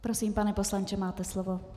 Prosím, pane poslanče, máte slovo.